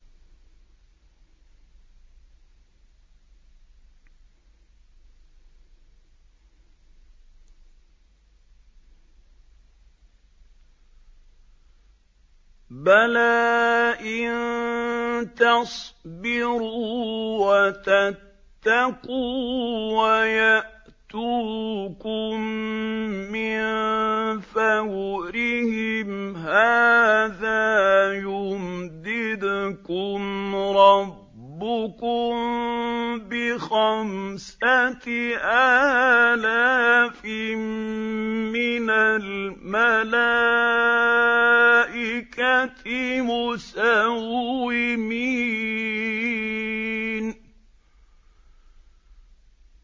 بَلَىٰ ۚ إِن تَصْبِرُوا وَتَتَّقُوا وَيَأْتُوكُم مِّن فَوْرِهِمْ هَٰذَا يُمْدِدْكُمْ رَبُّكُم بِخَمْسَةِ آلَافٍ مِّنَ الْمَلَائِكَةِ مُسَوِّمِينَ